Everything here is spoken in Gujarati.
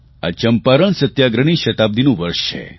આ ચંપારણ સત્યાગ્રહની શતાબ્દિનું વર્ષ છે